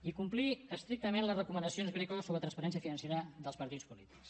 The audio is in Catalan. i complir estrictament les recomanacions greco sobre transparència financera dels partits polítics